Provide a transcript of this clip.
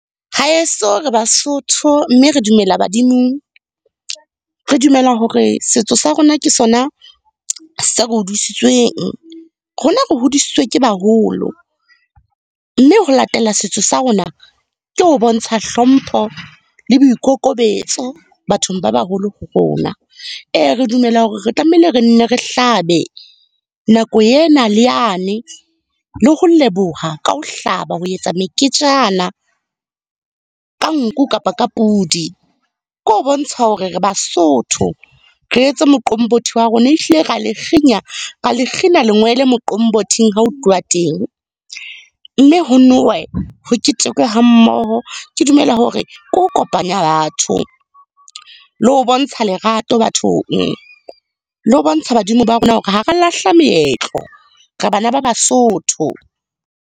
Haeso re Basotho, mme re dumela badimong. Re dumela hore setso sa rona ke sona se re hodisitsweng. Rona re hodisitswe ke baholo. Mme ho latela setso sa rona, ke ho bontsha hlompho le boikokobetso bathong ba baholo ho rona. Ee re dumela hore re tlamehile re nne re hlabe, nako ena le yane le ho leboha ka ho hlaba ho etsa meketjana ka nku kapa ka pudi. Ke ho bontsha hore re Basotho, re etse moqombothi wa rona. Ehlile ra le fenya, ra le kgina lengwele moqombothing ha o tluwa teng. Mme ho nowe, ho ketekwe hammoho. Ke dumela hore ke ho kopanya batho, le ho bontsha lerato bathong, le ho bontsha badimo ba rona hore ha ra lahla meetlo. Re bana ba Basotho.